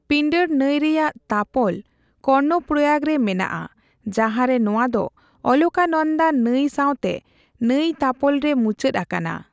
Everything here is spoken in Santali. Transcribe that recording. ᱯᱤᱱᱰᱟᱨ ᱱᱟᱹᱭ ᱨᱮᱭᱟᱜ ᱛᱟᱯᱚᱞ ᱠᱚᱨᱱᱚᱯᱨᱚᱭᱟᱜ ᱨᱮ ᱢᱮᱱᱟᱜᱼᱟ ᱡᱟᱦᱟᱸᱨᱮ ᱱᱚᱣᱟ ᱫᱚ ᱚᱞᱠᱟᱱᱚᱫᱟ ᱱᱟᱹᱭ ᱥᱟᱣᱛᱮ ᱱᱟᱹᱭᱛᱟᱯᱚᱞ ᱨᱮ ᱢᱩᱪᱟᱹᱫ ᱟᱠᱟᱱᱟ ᱾